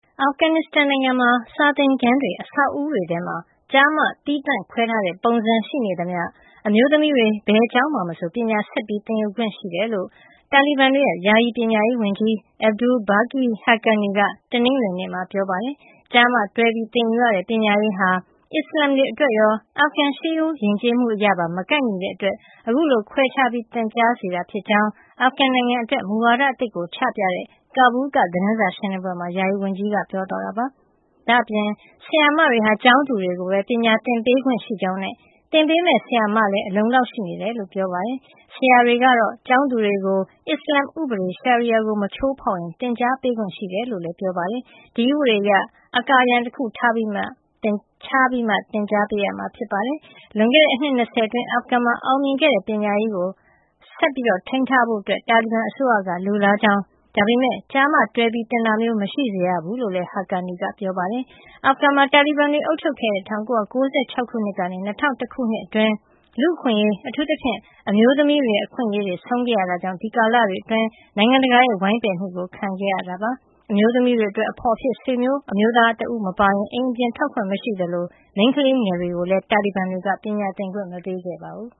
အာဖဂန်နစ္စတန်နိုင်ငံမှာ စာသင်ခန်းတွေ အဆောက်အဦးတွေထဲ ကျား-မ သီးသန့်ခွဲထားတဲ့ပုံစံ ရှိနေသမျှ အမျိုးသမီးတွေ ဘယ်ကျောင်းမှာမဆို ပညာဆက်လက် သင်ယူခွင့်ရှိကြောင်း တာလီဘန်တွေရဲ့ ယာယီပညာရေးဝန်ကြီး Abdul Baqi Haqqani က တနင်္ဂနွေနေ့မှာ ပြောပါတယ်။ ကျား-မ တွဲသင်ယူတဲ့ ပညာရေးဟာ အစ္စလာမ်တွေအတွက်ရော အာဖဂန် ရှေးရိုးယဉ်ကျေးမှုအရပါ မကိုက်ညီတဲ့အတွက် အခုလို ခွဲပြီး သင်ကြားစေတာဖြစ်ကြောင်း အာဖဂန်နိုင်ငံအတွက် မူဝါဒအသစ်ကိုချပြတဲ့ ကာဘူးလ်က သတင်းစာရှင်းလင်းပွဲမှာ ယာယီဝန်ကြီးက ပြောသွားတာပါ။ ဒါ့အပြင် ဆရာမတွေဟာ ကျောင်းသူတွေကိုပဲ ပညာသင်ပေးခွင့်ရှိကြောင်းနဲ့ သင်ပေးမယ့်ဆရာမလည်း အလုံအလောက် ရှိနေတယ်လို့ ပြောပါတယ်။ ဆရာတွေကတော့ ကျောင်းသူတွေကို အစ္စလာမ်ဥပဒေ Sharia ကို မချိုးဖောက်ရင် သင်ကြားပေးခွင့် ရှိတယ်လို့လည်း ပြောပါတယ်။ ဒီဥပဒေအရ အကာအရံတခုထားပြီးမှ သင်ကြားပေးရမှာ ဖြစ်ပါတယ်။ လွန်ခဲ့တဲ့ အနှစ် ၂၀ အတွင်း အာဖဂန်မှာ အောင်မြင်ခဲ့တဲ့ ပညာရေးကို ဆက်ထိန်းထားဖို့ တာလီဘန်အစိုးရက လိုလားကြောင်း၊ ဒါပေမယ့် ကျား-မ တွဲပြီး သင်တာမျိုး မရှိစေရဘူးလို့လည်း Haqqani က ပြောပါတယ်။ အာဖဂန်မှာ တာလီဘန်တွေ အုပ်ချုပ်ခဲ့တဲ့ ၁၉၉၆ ကနေ ၂၀၀၁ ခုနှစ်အတွင်း လူ့အခွင့်အရေး အထူးသဖြင့် အမျိုးသမီးတွေရဲ့ အခွင့်အရေးတွေ ဆုံးရှုံးခဲ့ရတာကြောင့် အဲဒီကာလတွေအတွင်း နိုင်ငံတကာရဲ့ ဝိုင်းပယ်မှုကို ခံခဲ့ရတာပါ။ အမျိုးသမီးတွေအတွက် အဖော်အဖြစ် ဆွေမျိုးအမျိုးသားတဦး မပါရင် အိမ်အပြင်ထွက်ခွင့် မရှိသလို မိန်းကလေးငယ်တွေကိုလည်း တာလီဘန်တွေက ပညာသင်ခွင့် မပေးခဲ့ပါဘူး